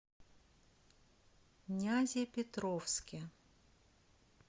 нязепетровске